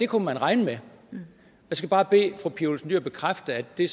kunne man regne med jeg skal bare bede fru pia olsen dyhr bekræfte at det